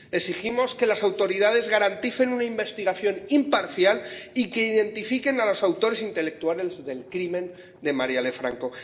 Exigimos que las autoridades garanticen una investigación imparcial y que identifiquen a los autores intelectuales del crimen de Marielle Franco.